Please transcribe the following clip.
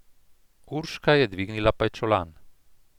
Urška je dvignila pajčolan.